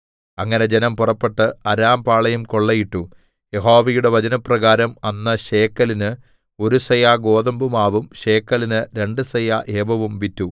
അങ്ങനെ ജനം പുറപ്പെട്ട് അരാംപാളയം കൊള്ളയിട്ടു യഹോവയുടെ വചനപ്രകാരം അന്ന് ശേക്കെലിന് ഒരു സെയാ ഗോതമ്പുമാവും ശേക്കെലിന് രണ്ടു സെയാ യവവും വിറ്റു